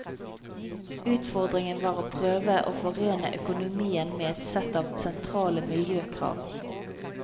Utfordringen var å prøve å forene økonomien med et sett av sentrale miljøkrav.